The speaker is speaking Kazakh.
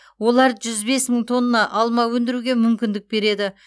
олар жүз бес мың тонна алма өндіруге мүмкіндік береді